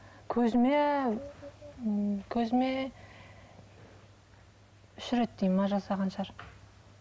көзіме ммм көзіме үш реттей ме жасаған шығар